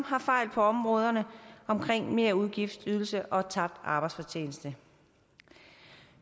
har fejl på områderne merudgiftsydelse og tabt arbejdsfortjeneste